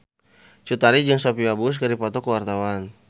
Cut Tari jeung Sophia Bush keur dipoto ku wartawan